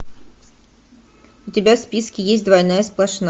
у тебя в списке есть двойная сплошная